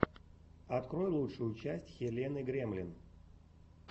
открой лучшую часть хелены гремлин